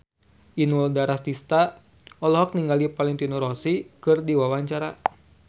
Inul Daratista olohok ningali Valentino Rossi keur diwawancara